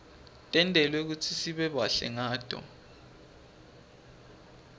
tentelwe kutsi sibe bahle ngato